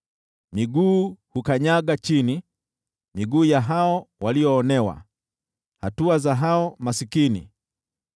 Miguu huukanyaga chini, miguu ya hao walioonewa, hatua za hao maskini.